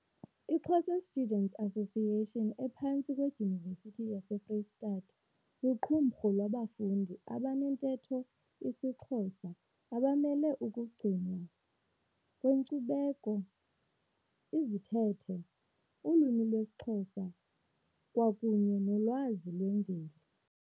I Xhosa Students Association ephantsi kwe Dyunivesithi yase Freystata liqumrhu labafundi abantetho isisiXhosa abamele ukugcinwa kwenkcubeko, izithethe, ulwimi lwesiXhosa kwakunye nolwazi lwemveli.